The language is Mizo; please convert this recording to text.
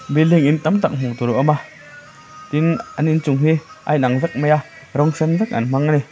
building in tam tak hmuh tur a awm a tin an inchung hi a inang vek mai a rawng sen vek an hmang a ni.